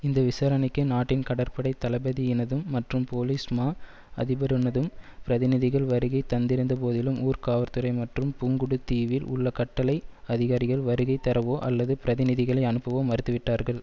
இந்த விசாரணைக்கு நாட்டின் கடற்படை தளபதியினதும் மற்றும் போலிஸ் மா அதிபரினதும் பிரதிநிதிகள் வருகை தந்திருந்த போதிலும் ஊர்காவற்துறை மற்றும் புங்குடு தீவில் உள்ள கட்டளை அதிகாரிகள் வருகைதரவோ அல்லது பிரதிநிதிகளை அனுப்பவோ மறுத்துவிட்டார்கள்